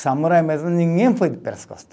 Samurai mesmo, ninguém foi pelas costas.